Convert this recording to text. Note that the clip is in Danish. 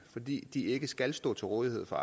fordi de ikke skal stå til rådighed for